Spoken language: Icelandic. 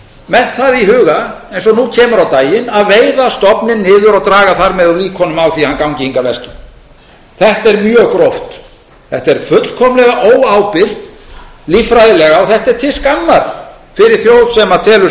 með það í huga eins og nú kemur á daginn að veiða stofninn niður og draga þar með úr líkunum á því að hann gangi hingað vestur þetta er mjög gróft þetta er fullkomlega óábyrgt líffræðilega og þetta er til skammar fyrir þjóð sem telur